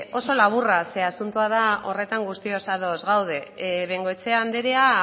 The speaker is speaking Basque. oso laburra zeren asuntoa da horretan guztiok ados gaude bengoechea andrea